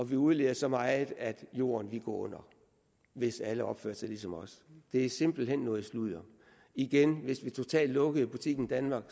vi udleder så meget at jorden ville gå under hvis alle opførte sig ligesom os det er simpelt hen noget sludder igen hvis vi totalt lukkede butikken danmark